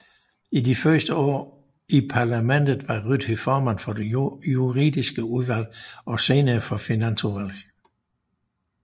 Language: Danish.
I de første år i parlamentet var Ryti formand for det juridiske udvalg og senere for finansudvalget